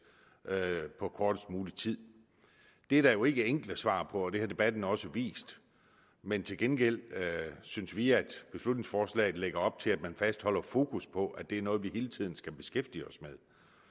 på kortest mulig tid det er der jo ikke enkle svar på og det har debatten også vist men til gengæld synes vi at beslutningsforslaget lægger op til at man fastholder fokus på at det er noget vi hele tiden skal beskæftige os med